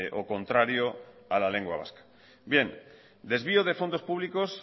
o contrario a la lengua vasca bien desvío de fondos públicos